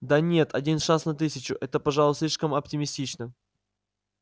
да нет один шанс на тысячу это пожалуй слишком оптимистично